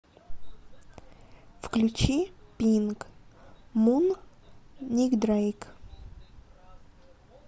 включи пинк мун ник дрэйк